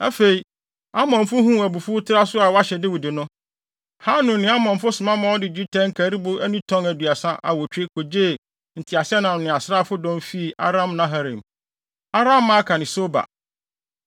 Afei, Amonfo huu abufuwtraso a wɔahyɛ Dawid no, Hanun ne Amonfo soma ma wɔde dwetɛ nkaribo ani tɔn aduasa awotwe kogyee nteaseɛnam ne asraafodɔm fii Aram-naharaim, Aram-maaka ne Soba.